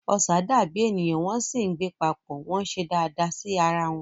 Ọṣà dàbí ènìyàn wọ́n sì ń gbé papọ̀, wọ́n ń ṣe dáadáa sí ara wọn.